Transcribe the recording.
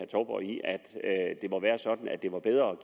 det må være sådan at det er bedre